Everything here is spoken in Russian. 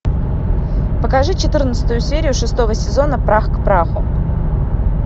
покажи четырнадцатую серию шестого сезона прах к праху